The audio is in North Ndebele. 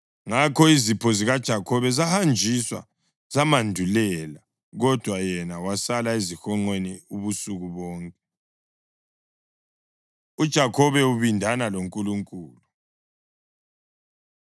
Ngakho izipho zikaJakhobe zahanjiswa, zamandulela, kodwa yena wasala ezihonqweni ubusuku bonke. UJakhobe Ubindana LoNkulunkulu